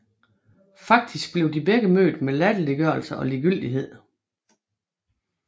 Faktisk blev de begge mødt med latterliggørelse og ligegyldighed